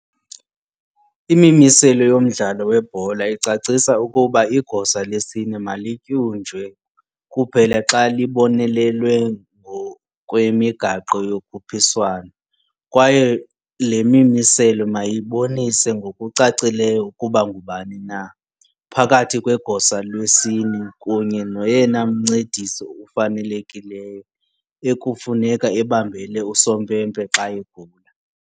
IMimiselo yoMdlalo weBhola icacisa ukuba igosa lesine malityunjwe kuphela xa libonelelwe ngokwemigaqo yokhuphiswano, kwaye le mimiselo mayibonise ngokucacileyo ukuba ngubani na, phakathi kwegosa lesine kunye noyena mncedisi ufanelekileyo, ekufuneka ebambele usompempe xa egula.